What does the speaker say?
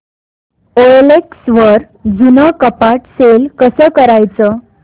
OLX वर जुनं कपाट सेल कसं करायचं